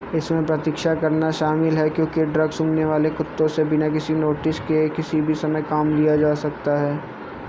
इसमें प्रतीक्षा करना शामिल है क्योंकि ड्रग-सूंघने वाले कुत्तों से बिना किसी नोटिस के किसी भी समय काम लिया जा सकता है